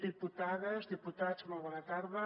diputades diputats molt bona tarda